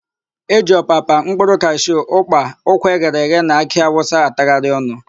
E ji ọpapa, mkpụrụ kashu, ụ́kpà, ụkwa eghere eghe na akị awụsa atagharị ọnụ.